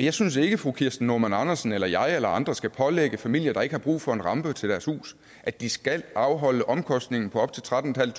jeg synes ikke at fru kirsten normann andersen eller jeg eller andre skal pålægge familier der ikke har brug for en rampe til deres hus at de skal afholde omkostningen på op til trettentusinde